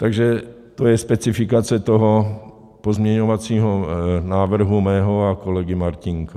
Takže to je specifikace toho pozměňovacího návrhu mého a kolegy Martínka.